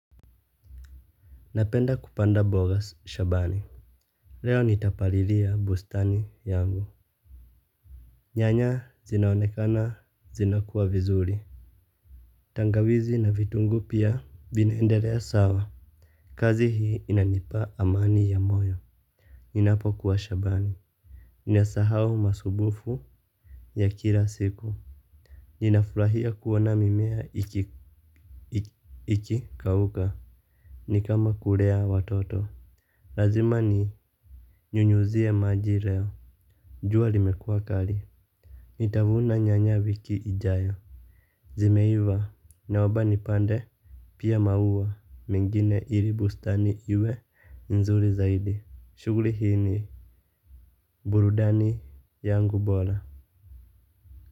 Napenda kupanda mbao shambani. Leo nitapalilia bustani yangu. Nyanya zinaonekana zinakuwa vizuri. Tangawizi na vitungu pia vinaendelea sawa. Kazi hii inanipa amani ya moyo. Ninapokuwa shambani ninasahau masumbufu ya kila siku. Ninafurahia kuona mimea iki kauka. Nikama kulea watoto. Lazima ni nyunyuzie maji leo jua limekua kali. Nitavuna nyanya wiki ijayo. Zimeiva naomba nipande. Pia maua mengine ili bustani iwe nzuri zaidi shuguli hii ni burudani yangu bora.